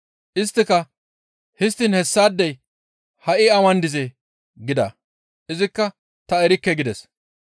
Isttika, «Histtiin hessaadey ha7i awan dizee?» gida; izikka, «Ta erikke» gides.